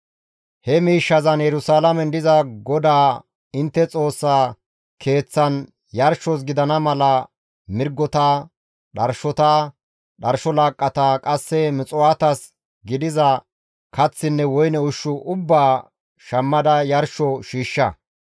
He miishshazan Yerusalaamen diza GODAA intte Xoossaa Keeththan yarshos gidana mala mirgota, dharshota, dharsho laaqqata, qasse muxuwaatas gidiza kaththinne woyne ushshu ubbaa shammada yarsho shiishsha.